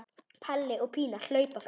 Palli og Pína hlaupa fram.